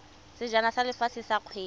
sejana sa lefatshe sa kgwele